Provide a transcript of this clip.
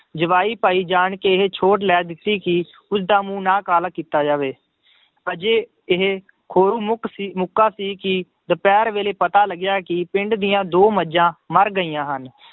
ਜਵਾਈ ਭਾਈ ਜਾਣ ਕੇ ਇਹ ਸੋਟ ਲੈ ਦਿੱਤੀ ਗਈ ਕਿ ਉਸਦਾ ਮੂੰਹ ਨਾ ਕਾਲਾ ਕੀਤਾ ਜਾਵੇ, ਅਜੇ ਇਹ ਖੋਰੂ ਮੁੱਕ ਸੀ ਮੁਕਾ ਸੀ ਕਿ ਦੁਪਿਹਰ ਵੇਲੇ ਪਤਾ ਲੱਗਿਆ ਕਿ ਪਿੰਡ ਦੀਆਂ ਦੋ ਮੱਝਾਂ ਮਰ ਗਈਆਂ ਹਨ,